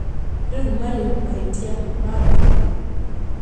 Rĩu marĩ mahĩtia ma Mburu?